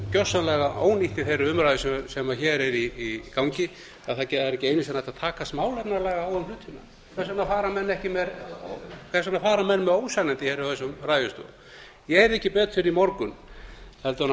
gersamlega ónýtt í þeirri umræðu sem hér er í gangi að það er ekki einu sinni hægt að takast málefnalega á um hlutina hvers vegna fara menn með ósannindi úr þessum ræðustól ég heyrði ekki betur í morgun heldur en